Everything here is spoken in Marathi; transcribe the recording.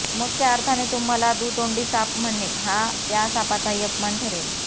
मग त्या अर्थाने तुम्हाला दुतोंडी साप म्हणणे हा त्या सापाचाही अपमान ठरेल